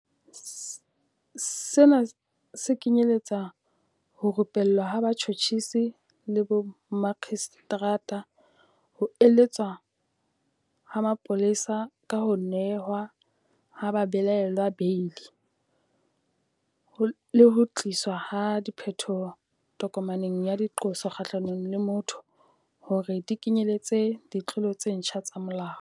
Sena se kenyeletsa ho rupellwa ha batjhotjhisi le bomakgistrata, ho eletswa ha mapolesa ka ho nehwa ha babelaellwa beili, le ho tliswa ha diphetoho tokomaneng ya diqoso kgahlano le motho hore di kenyeletse ditlolo tse ntjha tsa molao.